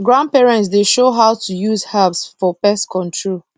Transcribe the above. grandparents dey show how to use herbs for pest control